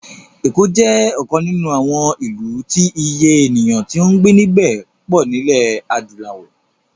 Èkó jẹ́ ọ̀kan nínú àwọn ìlú tí Iye ènìyàn tí ó ń gbé níbẹ̀ pọ̀ nílẹ̀ adúláwò